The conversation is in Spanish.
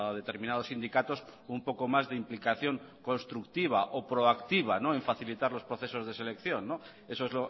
determinados sindicatos un poco más de implicación constructiva o proactiva en facilitar los procesos de selección eso es